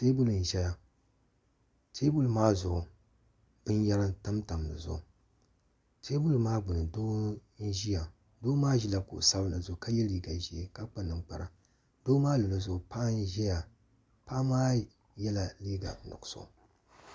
teebuli n-ʒeya teebuli maa zuɣu binyɛra tam tam di zuɣu teebuli maa gbunni doo n-ʒiya doo maa ʒila kuɣ'sabinli zuɣu ka ye liiga ʒee ka kpa ninkpara doo maa luɣili zuɣu paɣa n-ʒiya paɣa maa yela liiga nuɣisɔ.